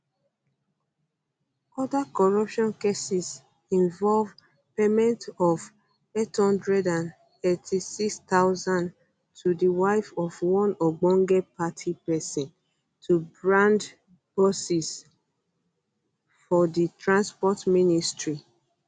um oda corruption cases involve payment of 886000 to di wife of one ogbonge party pesin to brand buses for di transport ministry